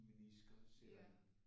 Minisker sætter ind